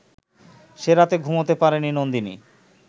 সে রাতে ঘুমোতে পারেনি নন্দিনী